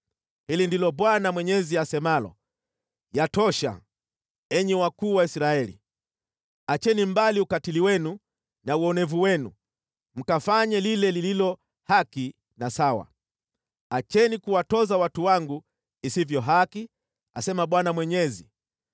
“ ‘Hili ndilo Bwana Mwenyezi asemalo: Yatosha, enyi wakuu wa Israeli! Acheni mbali ukatili wenu na uonevu wenu mkafanye lile lililo haki na sawa. Acheni kuwatoza watu wangu isivyo haki, asema Bwana Mwenyezi.